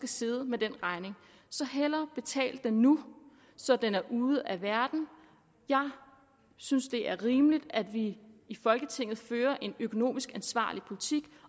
sidde med den regning så hellere betale den nu så den er ude af verden jeg synes det er rimeligt at vi i folketinget fører en økonomisk ansvarlig politik